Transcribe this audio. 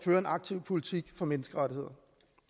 en aktiv politik for menneskerettigheder